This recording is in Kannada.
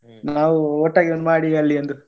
ನಾವು ಒಟ್ಟಾಗಿ ಮಾಡಿ ಅಲ್ಲಿ ಒಂದು.